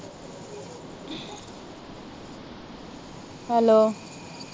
hello